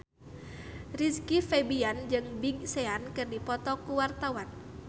Rizky Febian jeung Big Sean keur dipoto ku wartawan